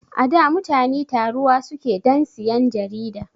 Ada mutani taruwa suke dan siyan jarida